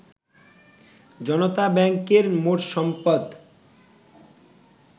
জনতা ব্যাংকের মোট সম্পদ